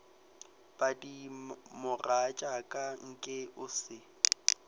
padi mogatšaka nke o se